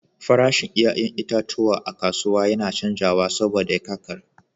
Farashin 'ya'yan itatuwa a kasuwa yana canzawa saboda kakar.